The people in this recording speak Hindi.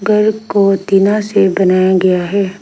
घर को टीना से बनाया गया है।